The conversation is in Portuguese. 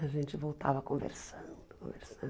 A gente voltava conversando, conversando.